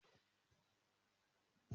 Ìpínlẹ̀ Ògùn ní mo máa ti ṣe ìgbéyàwó.